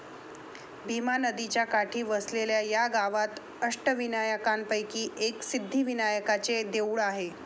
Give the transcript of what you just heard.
भीमा नदीच्या काठी वसलेल्या या गावात अष्टविनायकांपैकी एक सिद्धिविनायकाचे देऊळ आहे.